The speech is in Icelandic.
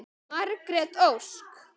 Margrét Ósk.